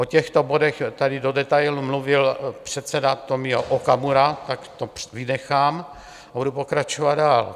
O těchto bodech tady do detailu mluvil předseda Tomio Okamura, tak to vynechám a budu pokračovat dál.